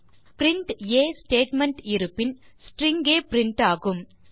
ஆனால் பிரின்ட் ஆ ஸ்டேட்மெண்ட் இருப்பின் ஸ்ட்ரிங் கே பிரின்ட் ஆகும்